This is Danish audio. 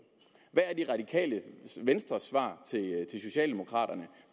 hvad er det radikale venstres svar til socialdemokraterne